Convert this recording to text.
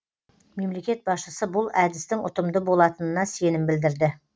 мемлекет басшысы бұл әдістің ұтымды болатынына сенім білдірді